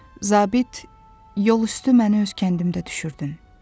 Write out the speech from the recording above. Zabit, yol üstü məni öz kəndimdə düşürdün.